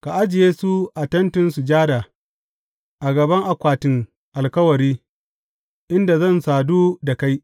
Ka ajiye su a Tentin Sujada, a gaba akwatin Alkawari, inda zan sadu da kai.